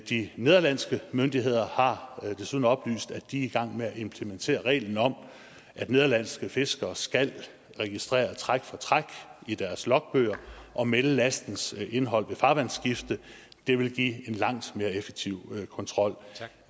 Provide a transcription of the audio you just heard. de nederlandske myndigheder har desuden oplyst at de er i gang med at implementere reglen om at nederlandske fiskere skal registrere træk for træk i deres logbøger og melde lastens indhold ved farvandsskift det ville give en langt mere effektiv kontrol